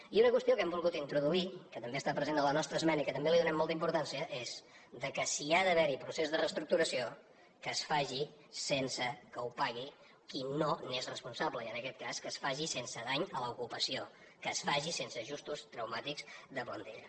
i una qüestió que hem volgut introduir que també està present a la nostra esmena i que també li donem molta importància és que si hi ha d’haver procés de reestructuració que es faci sense que ho pagui qui no n’és responsable i en aquest cas que es faci sense dany a l’ocupació que es faci sense ajustos traumàtics de plantilla